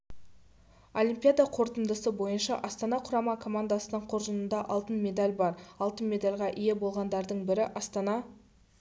олимпиада қорытындысы бойынша астана құрама командасының қоржынында алтын медаль бар алтын медальға ие болғандардың бірі астана